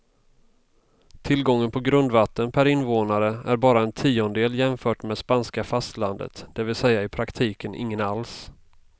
Tillgången på grundvatten per invånare är bara en tiondel jämfört med spanska fastlandet, det vill säga i praktiken ingen alls.